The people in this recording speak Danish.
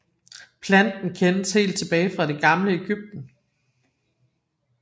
Planten kendes helt tilbage fra det gamle Egypten